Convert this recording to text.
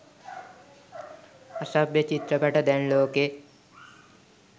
අසභ්‍ය චිත්‍රපට දැන් ලෝකෙ